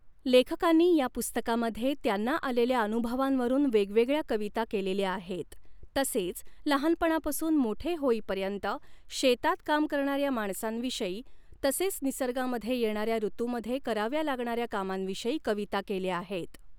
लेखकांनी या पुस्तकामध्ये त्यांना आलेल्या अनुभवांवरून वेगवेगळ्या कविता केलेल्या आहेत तसेच लहानपणापासून मोठे होईपर्यत शेतात काम करणाऱ्या माणसांविषयी तसेच निसर्गामध्ये येणाऱ्या ॠतुमध्ये कराव्या लागणाऱ्या कामांविषयी कविता केल्या आहेत.